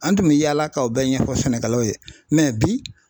An tun mɛ yaala ka o bɛɛ ɲɛfɔ sɛnɛkɛlaw ye bi